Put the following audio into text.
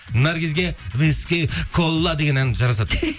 наргизге деген ән жарасады